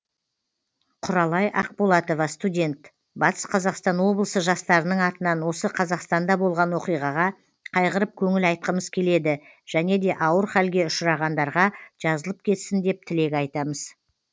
құралай ақболатова студент батыс қазақстан облысы жастарының атынан осы қазақстанда болған оқиғаға қайғырып көңіл айтқымыз келеді және де ауыр халге ұшырағандарға жазылып кетсін деп тілек айтамыз